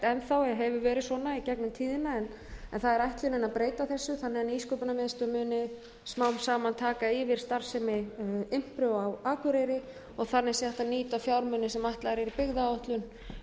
í gegnum tíðina en það er ætlunin að breyta þessu þannig að nýsköpunarmiðstöð muni smám saman taka yfir starfsemi impru á akureyri og þannig sé hægt að nýta fjármuni sem ætlaðir eru í byggðaáætlun